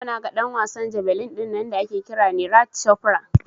Yau naga ɗan wasan jabelin dinnan da ake kira Neeraj Cofra